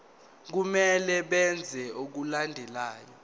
kumele benze okulandelayo